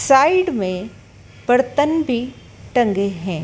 Side में बर्तन भी टंगे हैं।